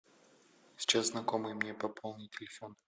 сейчас знакомый мне пополнит телефон